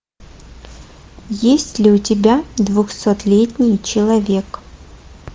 есть ли у тебя двухсотлетний человек